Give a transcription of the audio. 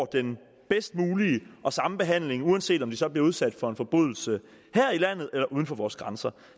den bedst mulige og den samme behandling uanset om de så bliver udsat for en forbrydelse her i landet eller uden for vores grænser